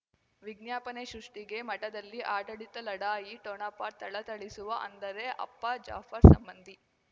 ವಿಜ್ಞಾಪನೆ ಸೃಷ್ಟಿಗೆ ಮಠದಲ್ಲಿ ಆಡಳಿತ ಲಢಾಯಿ ಠೊಣಪ ಥಳಥಳಿಸುವ ಅಂದರೆ ಅಪ್ಪ ಜಾಫರ್ ಸಂಬಂಧಿ